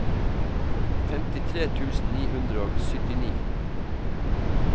femtitre tusen ni hundre og syttini